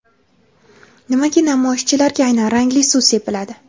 nimaga namoyishchilarga aynan rangli suv sepiladi?.